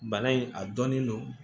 Bana in a dɔnnen don